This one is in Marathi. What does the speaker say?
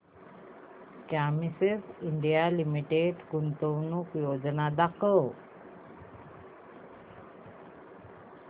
क्युमिंस इंडिया लिमिटेड गुंतवणूक योजना दाखव